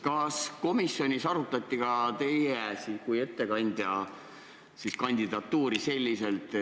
Kas komisjonis arutati ka teie kui ettekandja kandidatuuri?